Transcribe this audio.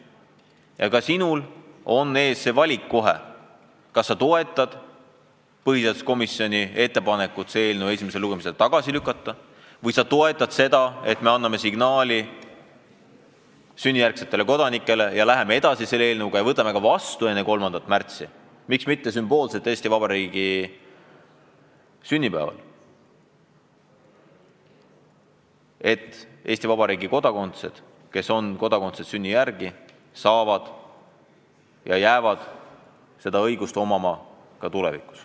Ja ka sinul on kohe see valik ees: kas sa toetad põhiseaduskomisjoni ettepanekut eelnõu esimesel lugemisel tagasi lükata või sa toetad seda, et me anname sünnijärgsetele kodanikele hea signaali, läheme eelnõuga edasi ja võtame seaduse enne 3. märtsi vastu – miks mitte sümboolselt Eesti Vabariigi sünnipäeval –, et inimesed, kes on Eesti Vabariigi kodanikud sünni järgi, jääksid seda õigust omama ka tulevikus.